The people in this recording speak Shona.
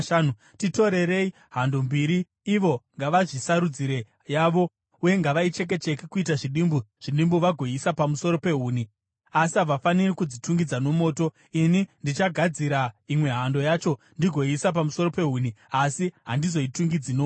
Titorerei hando mbiri. Ivo ngavazvisarudzire yavo, uye ngavaicheke-cheke kuita zvidimbu zvidimbu vagoiisa pamusoro pehuni, asi havafaniri kudzitungidza nomoto. Ini ndichagadzira imwe hando yacho ndigoiisa pamusoro pehuni asi handizodzitungidzi nomoto.